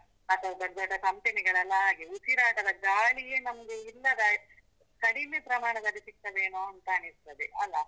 ಅಥವಾ ದೊಡ್ಡ ದೊಡ್ಡ company ಗಳೆಲ್ಲ ಆಗಿ, ಉಸಿರಾಟದ ಗಾಳಿಯೆ ನಮ್ಗೆ ಇಲ್ಲದಾಯ್ತು, ಕಡಿಮೆ ಪ್ರಮಾಣದಲ್ಲಿ ಸಿಗ್ತದೇನೊ ಅಂತ ಅನಿಸ್ತದೆ ಅಲಾ?